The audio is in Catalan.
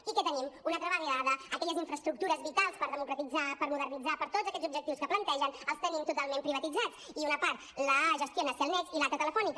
i què tenim una altra vegada aquelles infraestructures vitals per democratitzar per modernitzar per a tots aquests objectius que plantegen els tenim totalment privatitzats i una part la gestiona cellnex i l’altra telefónica